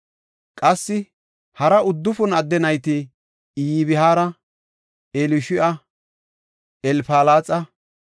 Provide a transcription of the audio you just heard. Qassi hara uddufun adde nayti Iyabhaara, Elishu7a, Elfalaxa,